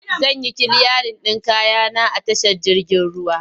Zan yi kiliyarin ɗin kaya na a tashar jirgin ruwa.